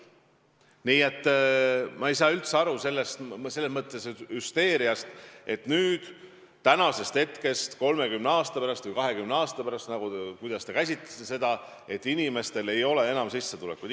Nii et ma ei saa üldse aru sellest hüsteeriast, et tänasest hetkest lugedes 30 aasta pärast või 20 aasta pärast – või kuidas te ütlesitegi – inimestel ei ole enam sissetulekuid.